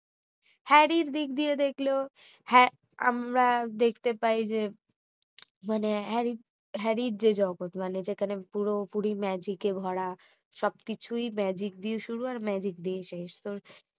হ্যারির দিক দিয়ে দেখলেও হ্যা~ আমরা দেখতে পাই যে মানে হ্যারির যে জগৎ মানে পুরোপুরি magic এ ভরা সবকিছুই magic দিয়ে শুরু আর magic দিয়ে শেষ তো